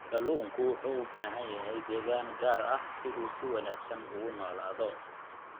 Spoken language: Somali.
Kalluunku wuxuu u baahan yahay deegaan gaar ah si uu si wanaagsan ugu noolaado.